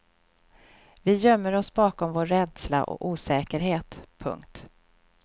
Vi gömmer oss bakom vår rädsla och osäkerhet. punkt